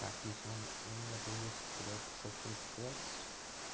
так если он у меня появился когда я пошёл в третий класс